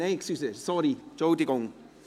Ach so, Entschuldigung!